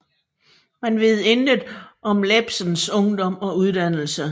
Man ved intet om Iebsens ungdom og uddannelse